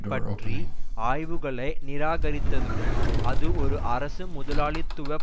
பற்றி ஆய்வுகளை நிராகரித்ததுடன் அது ஒரு அரசு முதலாளித்துவ